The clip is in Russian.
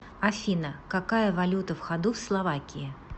афина какая валюта в ходу в словакии